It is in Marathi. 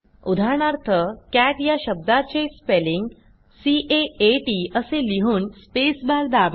उदाहरणार्थ Catया शब्दाते स्पेलिंग सी A आ T असे लिहून स्पेस बार दाबा